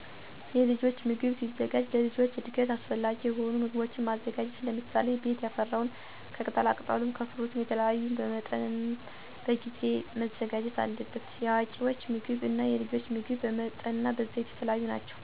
የልጆች ምግብ ሲዘጋጅ ለልጆች እድገት አሰፈላጊ የሆኑ ምጎቦችን ማዘጋጀት ለምሳሌ፦ ቤት ያፈራውን ከቅጣላቅጠሉም ከፍሩትም የተለያዩ በመጠንናበጊዜ መዘጋጀት አለበት። የአዋቂወች ምግብ እና የልጆች ምግብ በመጠንናበይዘት የተለያዩ ናቸው። ልጆች ታዳጊወች ናቸው ቀጥንቃ መዘጋጀት አለበት። የመቀንጨርን የአምሮ ውስንነት እንዳያጋጥማቸው የተለያዩ ምግቦችን መመገብ አለብን። ለምሳሌ ቅባት የበዛበት፣ ስኳር የበዛበቸውን ምገቦችን ለልጆች አለማዘጋጀት። ሳያሳንሱ ሳያበዙ በመጠን ንፅህናወን የጠበቀ በሽታ ተከላካይ ለልጆች እድገት ሚያስፈልገውን ቤት ያፈራወን ማዘጋጀት አለብን።